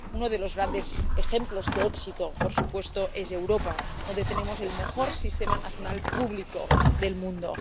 Uno de los grandes ejemplos de éxito, por supuesto, es Europa, donde tenemos el mejor sistema nacional público del mundo